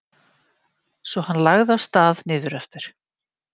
Svo hann lagði af stað niður eftir.